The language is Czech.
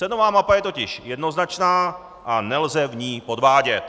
Cenová mapa je totiž jednoznačná a nelze v ní podvádět.